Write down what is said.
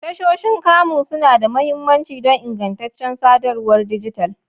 Tashoshin kamu suna da mahimmanci don ingantaccen sadarwar dijital.